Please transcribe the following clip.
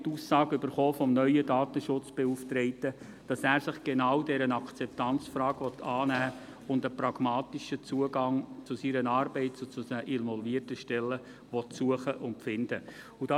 Vom neuen Datenschutzbeauftragten haben wir die Aussage erhalten, dass er sich genau dieser Akzeptanzfrage annehmen und einen pragmatischen Zugang seiner Arbeit zu den involvierten Stellen suchen und finden möchte.